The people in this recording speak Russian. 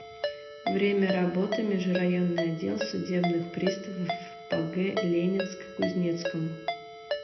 время работы межрайонный отдел судебных приставов по г ленинск кузнецкому